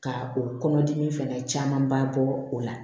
Ka o kɔnɔdimi fɛnɛ camanba bɔ o la